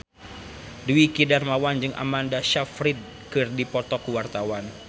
Dwiki Darmawan jeung Amanda Sayfried keur dipoto ku wartawan